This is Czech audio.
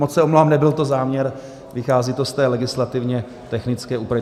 Moc se omlouvám, nebyl to záměr, vychází to z té legislativně technické úpravy.